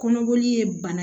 Kɔnɔboli ye bana